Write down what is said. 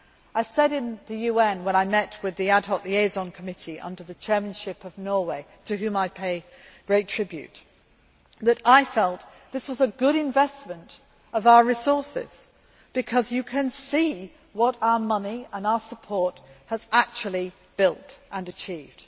I said in the UN when I met with the Ad Hoc Liaison Committee under the chairmanship of Norway to whom I pay great tribute that I felt this was a good investment of our resources, because you can see what our money and our support has actually built and achieved.